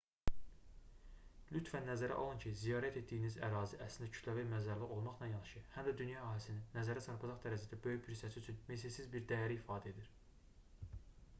lütfən nəzərə alın ki ziyarət etdiyiniz ərazi əslində kütləvi bir məzarlıq olmaqla yanaşı həm də dünya əhalisinin nəzərə çarpacaq dərəcədə böyük bir hissəsi üçün misilsiz bir dəyəri ifadə edir